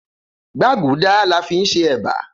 Gbágùdáá la fin ṣe eba.